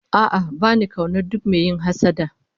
A'a ba ni kaunar duk mai yin hassada